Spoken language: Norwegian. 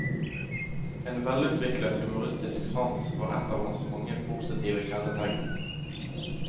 En velutviklet humoristisk sans var ett av hans mange positive kjennetegn.